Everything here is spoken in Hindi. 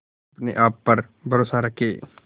अपने आप पर भरोसा रखें